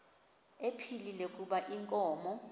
ephilile kuba inkomo